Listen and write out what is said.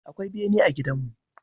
Akwai bene a gidanmu.